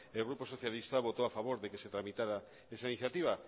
el grupo socialista votó a favor de que se tramitara esa iniciativa